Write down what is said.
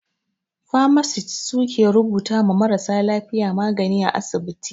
"Pharmacist" su ke rubuta ma marasa lafiya magani a asibiti.